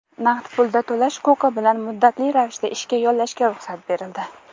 naqd pulda to‘lash huquqi bilan muddatli ravishda ishga yollashga ruxsat berildi.